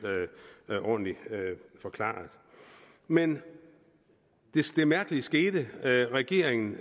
ordentlig forklaret men det mærkelige skete at regeringen